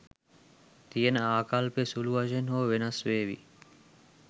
තියෙන ආකල්පය සුළු වශයෙන් හෝ වෙනස් වේවි.